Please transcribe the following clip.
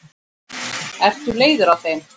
Ertu leiður á þeim?